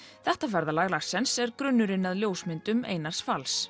þetta ferðalag Larsens er grunnurinn að ljósmyndum Einars fals